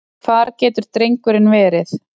Hvar getur drengurinn verið?